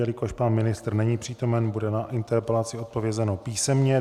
Jelikož pan ministr není přítomen, bude na interpelaci odpovězeno písemně.